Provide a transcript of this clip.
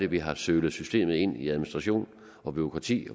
vi har sølet systemet ind i administration og bureaukrati